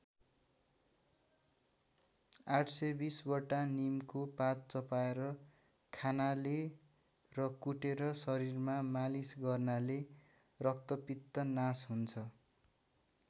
८१० वटा नीमको पात चपाएर खानाले र कुटेर शरीरमा मालिस गर्नाले रक्तपित्त नास हुन्छ।